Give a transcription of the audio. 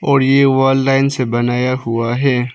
और ये wall line से बनाया हुआ है।